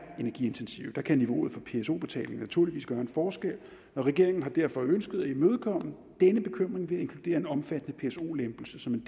energiintensive kan niveauet for pso betalingen naturligvis gøre en forskel og regeringen har derfor ønsket at imødekomme denne bekymring ved at inkludere en omfattende pso lempelse som en